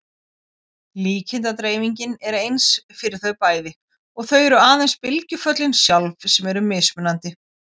Líkindadreifingin er eins fyrir þau bæði og það eru aðeins bylgjuföllin sjálf sem eru mismunandi.